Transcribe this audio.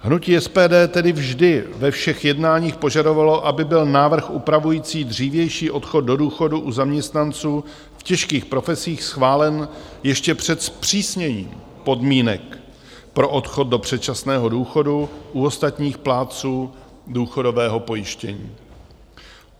Hnutí SPD tedy vždy ve všech jednáních požadovalo, aby byl návrh upravující dřívější odchod do důchodu u zaměstnanců v těžkých profesích schválen ještě před zpřísněním podmínek pro odchod do předčasného důchodu u ostatních plátců důchodového pojištění.